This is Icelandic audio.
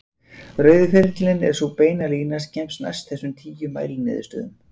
Rauði ferillinn er sú beina lína sem kemst næst þessum tíu mæliniðurstöðum.